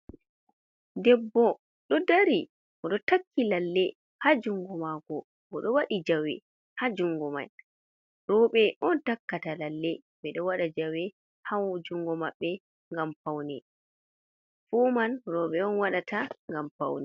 Debbo ɗo dari ɓo ɗo takki lalle ha jungo mako ɓo ɗo wadi jawe ha jungo mai, roɓe on takkata lalle, ɓeɗo waɗa jawe ha jungo mabbe ngam faune fu man roɓe on wadata ngam faune.